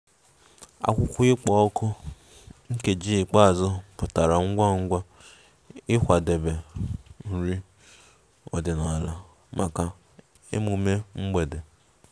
Akwụkwọ ịkpọ òkù nkeji ikpeazụ pụtara ngwa ngwa ịkwadebe nri ọdịnala maka emume mgbede